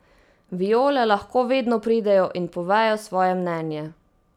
Viole lahko vedno pridejo in povejo svoje mnenje.